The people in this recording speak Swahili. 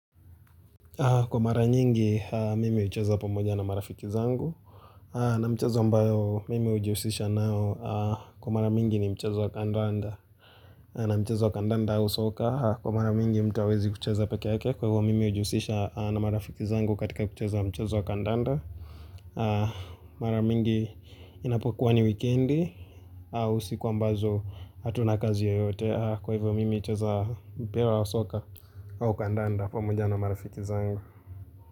Kwa mara nyingi, mimi hucheza pamoja na marafiki zangu. Na mchezo ambayo, mimi hujiusisha nao. Kwa mara mingi ni mchezo kandanda. Na mchezo kandanda au soka, kwa mara mingi mtu hawezi kucheza peke yake. Kwa hivyo, mimi hujiusisha na marafiki zangu katika kucheza mchezo wa kandanda. Mara mingi, inapokuwa ni wikendi. Usiku ambazo, hatuna kazi yoyote. Kwa hivyo, mimi hucheza mpira wa soka. Au kandanda pamoja na marafiki zangu.